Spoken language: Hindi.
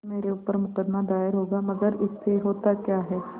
मेरे ऊपर मुकदमा दायर होगा मगर इससे होता क्या है